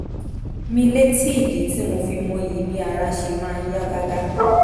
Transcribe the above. mi létí ìdí tí mo fi mọyì bí ara ṣe máa ń yá gágá